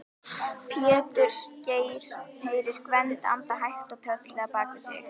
Péturs, heyrir Gvend anda hægt og tröllslega bak við sig.